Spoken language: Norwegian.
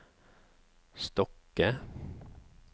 Stokke